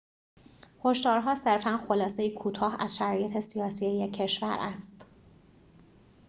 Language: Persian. هشدارها صرفاً خلاصه‌ای کوتاه از شرایط سیاسی یک کشور است